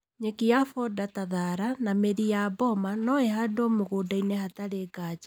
Nyeki ya foda ta thara na mĩri ya boma noĩhandwo mũgũndainĩ hatarĩ nganja